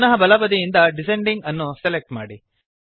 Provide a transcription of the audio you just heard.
ಪುನಃ ಬಲ ಬದಿಯಿಂದ ಡಿಸೆಂಡಿಂಗ್ ಅನ್ನು ಸೆಲೆಕ್ಟ್ ಮಾಡಿ